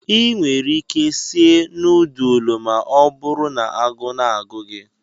Ị nwere ike sie nọọdụlụ ma ọ bụrụ na agụụ na-agụ gị.